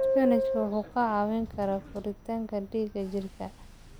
Isbaanishku wuxuu ka caawiyaa kordhinta dhiigga jidhka.